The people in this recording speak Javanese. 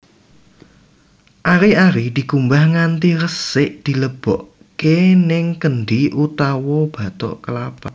Ari ari dikumbah nganti resik dilebokake ning kendhi utawa bathok kelapa